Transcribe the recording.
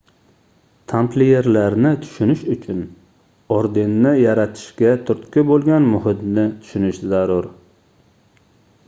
tampliyerlarni tushunish uchun ordenni yaratishga turtki boʻlgan muhitni tushunish zarur